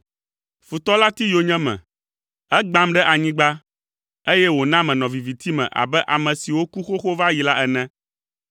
Futɔ la ti yonyeme, egbãm ɖe anyigba, eye wòna menɔ viviti me abe ame siwo ku xoxo va yi la ene.